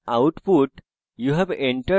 আমরা output